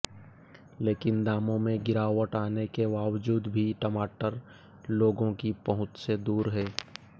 लेकिन दामों में गिरावट आने के बावजूद भी टमाटर लोगों की पहुंच से दूर है